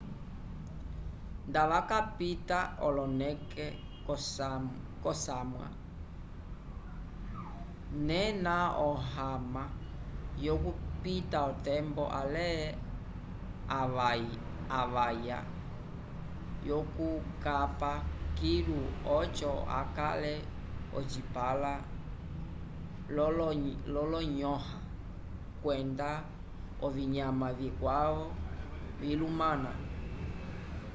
nda wakapita oloneke k'osamwa nena ohama yokupita otembo ale avaya vyukukapa kilu oco okale ocipãla l'olonyõha kwenda ovinyama vikwavo vilumana